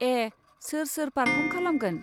ए, सोर सोर पार्फम खालामगोन?